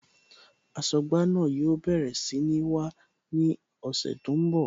Aṣọ́gbà náà yóò bẹ̀rẹ̀ sí ní wá ní ọ̀sẹ̀ tó ń bọ̀